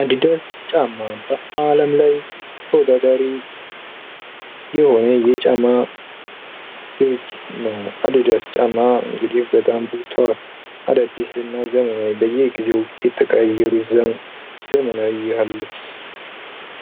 አዲዳስ ጫማ በዓለም ላይ ተወዳዳሪ የሆነ የጫማ ድርጅት ነው:: አዲዳስ ጫማ እንግዲህ በጣም ታዋቂ አዳዲስ እና ዘመናዊ በየጊዜው እየተቀያየሩ ያሉት ዘመናዊ